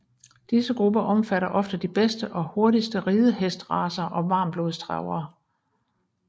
Disse grupper omfatter ofte de bedste og hurtigste ridehestracer og varmblodstravere